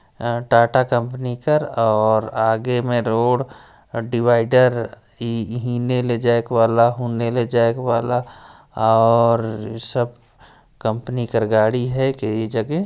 Tata company कर और आगे में रोड डिवाइडर इहि ने जाएक वाला हुने ले जायक वाला और सब कंपनी कर गाड़ी हैं कई जगह--